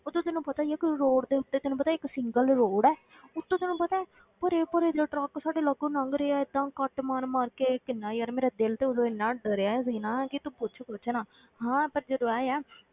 ਉੱਤੋਂ ਤੈਨੂੰ ਪਤਾ ਹੀ ਹੈ ਕਿ road ਦੇ ਉੱਤੇ ਤੈਨੂੰ ਪਤਾ ਹੈ ਇੱਕ single road ਹੈ ਉੱਤੋਂ ਤੈਨੂੰ ਪਤਾ ਹੈ ਭਰੇ ਭਰੇ ਜਿਹੇ ਟਰੱਕ ਸਾਡੇ ਲਾਗੋਂ ਲੰਘ ਰਹੇ ਆ ਏਦਾਂ ਕੱਟ ਮਾਰ ਮਾਰ ਕੇ ਕਿੰਨਾ ਯਾਰ ਮੇਰਾ ਦਿਲ ਤੇ ਉਦੋਂ ਇੰਨਾ ਡਰਿਆ ਸੀ ਨਾ ਕਿ ਤੂੰ ਪੁੱਛ ਕੁਛ ਨਾ ਹਾਂ ਪਰ ਜਦੋਂ ਆਏ ਆਂ,